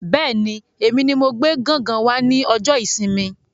Bẹ́ẹ̀ni, èmi ní mo gbé gángan wá ní ọjọ ìsinmi